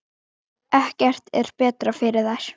Ekkert er betra fyrir þær.